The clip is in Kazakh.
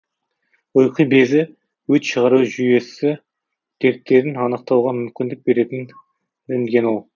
ұйқы безі өт шығару жүйесі дерттерін анықтауға мүмкіндік беретін рентгенол